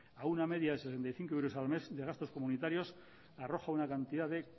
a una media de sesenta y cinco euros al menos de gastos comunitarios arroja una cantidad de